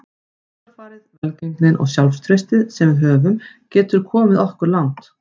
Hugarfarið, velgengnin og sjálfstraustið sem við höfum getur komið okkur langt.